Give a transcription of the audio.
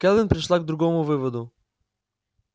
кэлвин пришла к другому выводу